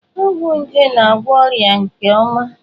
Ọgwụ nje na-agwọ ọrịa nje nke ọma.